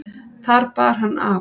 Þar bar hann af.